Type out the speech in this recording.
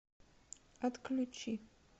отключи